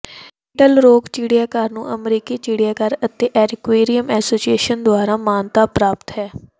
little Rock ਚਿੜੀਆਘਰ ਨੂੰ ਅਮਰੀਕੀ ਚਿੜੀਆਘਰ ਅਤੇ ਐਕੁਆਰਿਅਮ ਐਸੋਸੀਏਸ਼ਨ ਦੁਆਰਾ ਮਾਨਤਾ ਪ੍ਰਾਪਤ ਹੈ